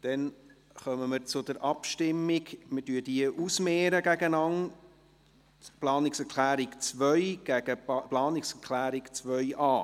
Wir kommen zur Abstimmung über die Planungserklärung 2, die wir gegen die Planungserklärung 2.a ausmehren.